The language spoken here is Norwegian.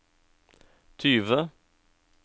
tyve